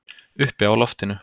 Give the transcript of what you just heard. Uppi á loftinu.